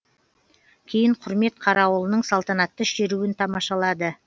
кейін құрмет қарауылының салтанатты шеруін тамашалады